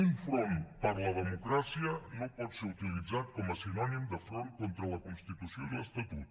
un front per la democràcia no pot ser utilitzat com a sinònim de front contra la constitució i l’estatut